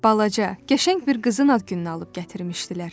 Balaca, qəşəng bir qızın ad gününə alıb gətirmişdilər.